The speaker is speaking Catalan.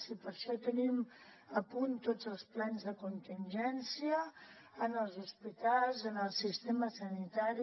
i per això tenim a punt tots els plans de contingència en els hospitals en el sistema sanitari